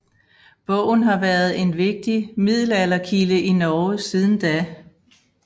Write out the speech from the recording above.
Bogen har været en vigtig middelalderkilde i Norge siden da